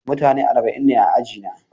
Mutane arba'in ne a ajina.